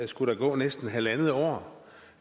skulle der gå næsten halvandet år